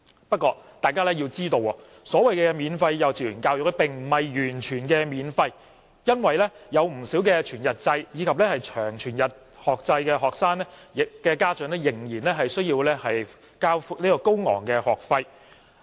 不過，須知道，所謂的免費幼稚園教育並不是完全免費的，因為不少全日制及長全日制學生的家長仍須支付高昂的學費。